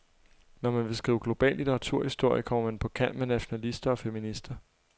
Når man vil skrive global litteraturhistorie, kommer man på kant med nationalister og feminister.